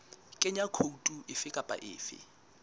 kenya khoutu efe kapa efe